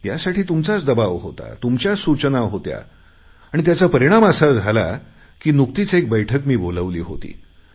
यासाठी तुमचाच दबाव होता तुमच्याच सूचना होत्या त्याचा परिणाम असा झाला की नुकतीच एक बैठक मी बोलावली होती